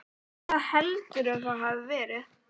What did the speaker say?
Hvar heldurðu að það hafi verið?